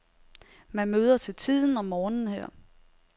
Man møder til tiden om morgenen her.